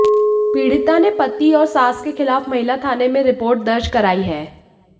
पीडिता ने पति और सास के खिलाफ महिला थाने में रिपोर्ट दर्ज कराई है